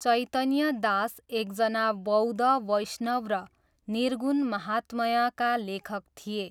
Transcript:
चैतन्य दास एकजना बौद्ध वैष्णव र निर्गुण महात्म्यका लेखक थिए।